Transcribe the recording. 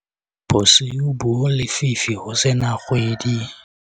bosiu bo lefifi ho se na kgwedi